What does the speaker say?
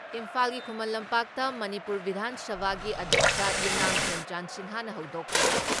ꯏꯝꯐꯥꯜꯒꯤ ꯈꯨꯃꯟ ꯂꯝꯄꯥꯛꯇ ꯃꯅꯤꯄꯨꯔ ꯕꯤꯙꯥꯟ ꯁꯚꯥꯒꯤ ꯑꯗ꯭ꯌꯛꯁ ꯌꯨꯝꯅꯥꯝ ꯈꯦꯝꯆꯥꯟ ꯁꯤꯡꯍꯅ ꯍꯧꯗꯣꯛꯈ꯭ꯔꯦ꯫